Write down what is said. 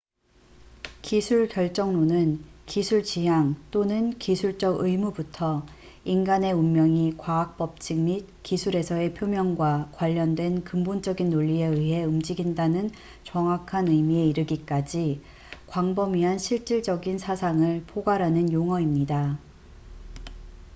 기술 결정론은 기술 지향 또는 기술적 의무부터 인간의 운명이 과학 법칙 및 기술에서의 표명과 관련된 근본적인 논리에 의해 움직인다는 정확한 의미에 이르기까지 광범위한 실질적인 사상을 포괄하는 용어입니다